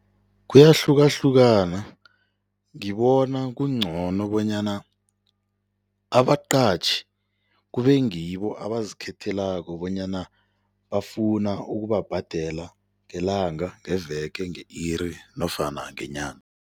Kuyahlukahlukana ngibona kungcono bonyana abaqatjhi kube ngibo abazikhethelako bonyana bafuna ukubabhadela ngelanga, ngeveke, nge-iri nofana ngenyanga.